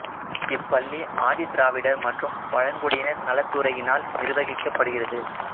இப்பள்ளி ஆதி திராவிடர் மற்றும் பழங்குடியினர் நலத்துறையினால் நிர்வகிக்கப் படுகிறது